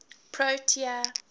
protea